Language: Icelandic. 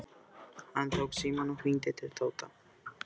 Hann tók símann og hringdi til Tóta.